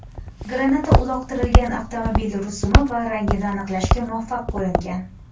Granata uloqtirilgan avtomobil rusumi va rangini aniqlashga muvaffaq bo‘lingan.